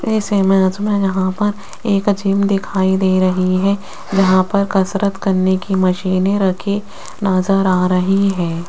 इस इमेज मे यहां पर एक जिम दिखाई दे रही है यहां पर कसरत करने की मशीनें रखी नज़र आ रही है।